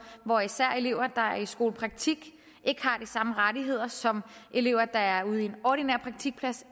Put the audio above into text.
hvor især elever der er i skolepraktik ikke har de samme rettigheder som elever der er ude i en ordinær praktik